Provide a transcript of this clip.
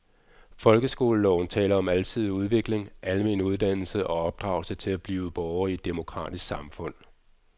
Folkeskoleloven taler om alsidig udvikling, almen dannelse og opdragelse til at blive borger i et demokratisk samfund.